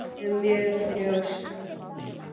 Ég er mjög þrjósk.